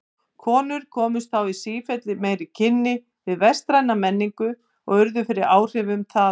Konur komust þá í sífellt meiri kynni við vestræna menningu og urðu fyrir áhrifum þaðan.